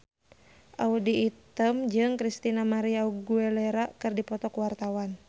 Audy Item jeung Christina María Aguilera keur dipoto ku wartawan